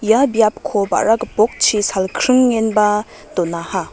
ia biapko ba·ra gipokchi salkringenba donaha.